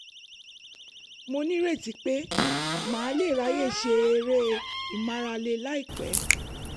mo nírètí pé màá lè ráyè ṣe eré ìmárale láìpẹ́